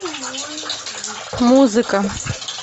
музыка